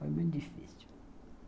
Foi muito difícil.